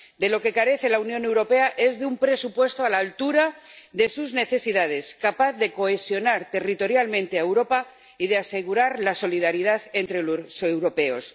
De lo que carece la Unión Europea es de un presupuesto a la altura de sus necesidades, capaz de cohesionar territorialmente a Europa y de asegurar la solidaridad entre los europeos.